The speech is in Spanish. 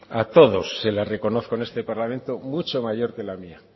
a todos les reconozco en este parlamento mucho mayor que la mía